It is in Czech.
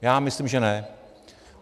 Já myslím, že ne.